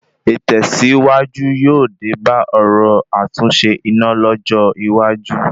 Ìtẹ̀sìwájú yóò dé bá ọ̀rọ̀ àtúnṣe iná lọ́jọ́ iwájú